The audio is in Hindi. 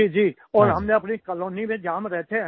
जी जी और हम अपनी कॉलोनी में जहाँ हम रहते हैं